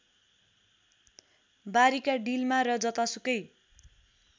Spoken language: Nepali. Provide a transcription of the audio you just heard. बारीका डिलमा र जतासुकै